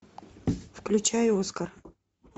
включай оскар